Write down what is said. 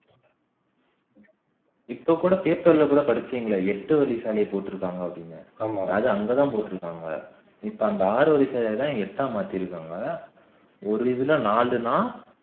இப்ப கூட paper ல படிச்சேன்ங்க எட்டு வழிசாலை போட்டிருக்காங்க அப்படிண்ணு அது அங்கதான் போட்டிருக்காங்க இப்ப அந்த ஆறுவழி சாலையை தான் எட்டா மாத்திருக்காங்க ஒரு இதுல நாளுனா